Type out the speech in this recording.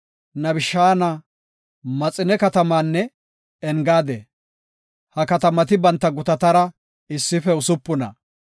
Nibishaana, Maxine katamaanne Engaade. Ha katamati banta gutatara issife usupuna.